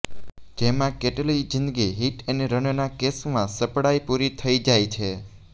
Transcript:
જેમાં કેટલીય જિંદગી હિટ એન્ડ રનના કેસમાં સપડાઈ પુરી થઈ જાય છે